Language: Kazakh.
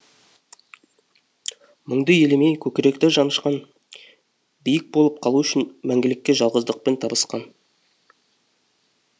мұңды елемей көкіректі жанышқан биік болып қалу үшін мәңгілікке жалғыздықпен табысқан